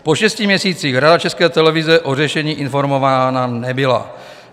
Po šesti měsících Rada České televize o řešení informována nebyla.